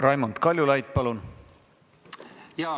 Raimond Kaljulaid, palun!